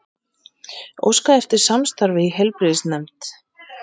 Óska eftir samstarfi í heilbrigðisnefnd